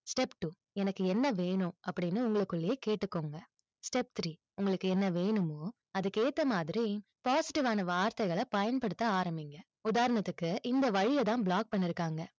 step two எனக்கு என்ன வேணும்? அப்படின்னு, உங்களுக்குள்ளயே கேட்டுக்கோங்க step three உங்களுக்கு என்ன வேணுமோ, அதுக்கு ஏத்த மாதிரி, பாசிட்டிவான வார்த்தைகளை பயன்படுத்த ஆரம்பிங்க. உதாரணத்துக்கு இந்த வழியை தான் block பண்ணி இருக்காங்க,